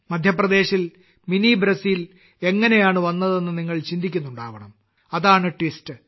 മധ്യപ്രദേശിൽ mini Brazil എങ്ങനെയാണ് വന്നതെന്ന് നിങ്ങൾ ചിന്തിക്കുന്നുണ്ടാകണം അതാണ് ട്വിസ്റ്റ്